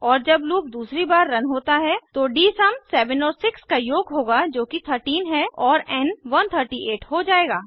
और जब लूप दूसरी बार रन होता है तो डीएसयूम 7 और 6 का योग होगा जो कि 13 है और एन 138 हो जाएगा